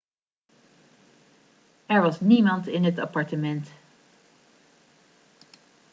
er was niemand in het appartement